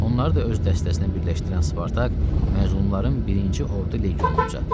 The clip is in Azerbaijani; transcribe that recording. Onları da öz dəstəsinə birləşdirən Spartak məzlumların birinci ordu legionunu düzəltdi.